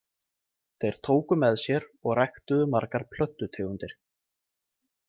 Þeir tóku með sér og ræktuðu margar plöntutegundir.